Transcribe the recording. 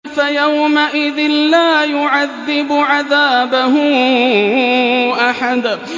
فَيَوْمَئِذٍ لَّا يُعَذِّبُ عَذَابَهُ أَحَدٌ